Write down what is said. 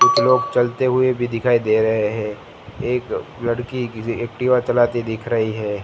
लोग चलते हुए भी दिखाई दे रहे हैं एक लड़की किसी एक्टिवा चलाते दिख रही है।